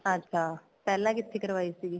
ਅੱਛਾ ਪਹਿਲਾਂ ਕਿੱਥੇ ਕਰਵਾਈ ਸੀਗੀ